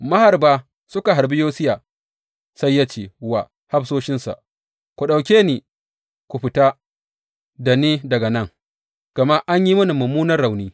Maharba suka harbi Yosiya, sai ya ce wa hafsoshinsa, Ku ɗauke ni ku fita da ni daga nan; gama an yi mini mummunan rauni.